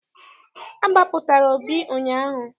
A gbapụtara Obi ụnyaahụ.